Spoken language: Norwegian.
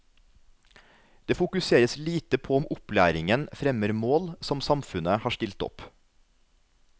Det fokuseres lite på om opplæringen fremmer mål som samfunnet har stilt opp.